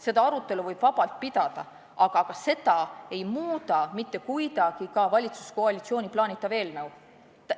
Seda arutelu võib vabalt pidada, aga seda ei mõjuta mitte kuidagi valitsuskoalitsiooni plaanitav eelnõu.